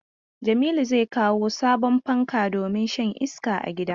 Jamilu zai kawo sabon fanka domin shan iska a gidan.